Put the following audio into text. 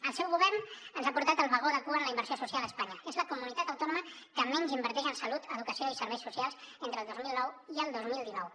el seu govern ens ha portat al vagó de cua en la inversió social a espanya és la comunitat autònoma que menys inverteix en salut educació i serveis socials entre el dos mil nou i el dos mil dinou